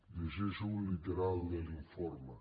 llegeixo literalment l’informe